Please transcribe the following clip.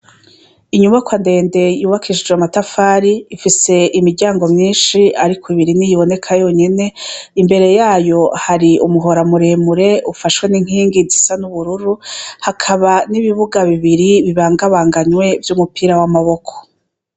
Inyubako andende yubakishije matafari ifise imiryango myinshi, ariko ibiri ni yiboneka yonyene imbere yayo hari umuhora amuremure ufashwe n'inkingi zisa n'ubururu hakaba n'ibibuga bibiri bibangabanganywe vy'umupira w'amaboko.